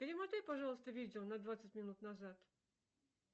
перемотай пожалуйста видео на двадцать минут назад